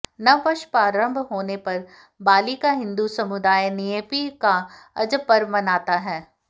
नववर्ष प्रारंभ होने पर बाली का हिंदु समुदाय न्येपी का अजब पर्व मनाता है